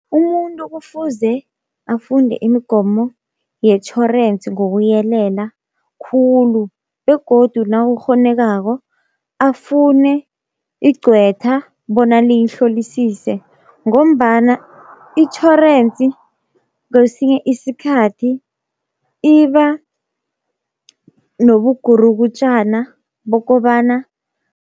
Umuntu kufuze afunde imigomo yetjhorensi ngokuyelela khulu, begodu nawukghonekako afune igcwetha bona liyihlolisise, ngombana itjhorensi kwesinye isikhathi iba nobugurukutjana bokobana